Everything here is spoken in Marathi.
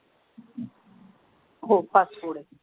हो फास्ट फूड आहे.